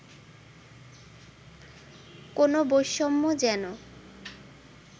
কোন বৈষম্য যেন